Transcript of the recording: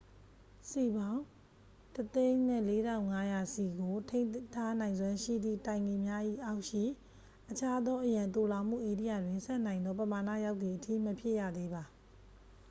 စည်ပေါင်း 104,500 စည်ကို ထိန်းထားနိုင်စွမ်းရှိသည့်တိုင်ကီများ၏အောက်ရှိ အခြားသော အရန်သိုလှောင်မှုဧရိယာတွင် ဆံ့နိုင်သောပမာဏရောက်သည်အထိ မဖြည့်ရသေးပါ